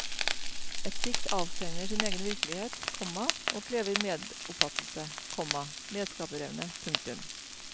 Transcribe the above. Et dikt avtegner sin egen virkelighet, komma og krever medoppfattelse, komma medskaperevne. punktum